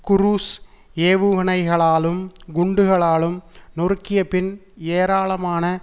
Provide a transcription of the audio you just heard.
cruise ஏவுகணைகளாலும் குண்டுகளாலும் நொறுக்கியபின் ஏராளமான